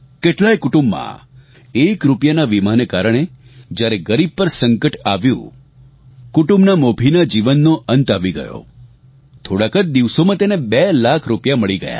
કેટલાય કુટુંબમાં એક રૂપિયાના વીમાને કારણે જ્યારે ગરીબ પર સંકટ આવ્યું કુટુંબના મોભીના જીવનનો અંત આવી ગયો થોડાંક જ દિવસોમાં તેને બે લાખ રૂપિયા મળી ગયા